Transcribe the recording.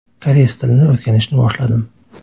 Koreys tilini o‘rganishni boshladim.